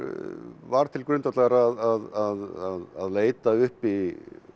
var til grundvallar að leita uppi